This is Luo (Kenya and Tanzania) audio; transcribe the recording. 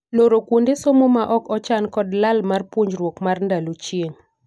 Loro kuonde somo ma ok ochan kod lal mar puonjruok mar ndalo chieng'.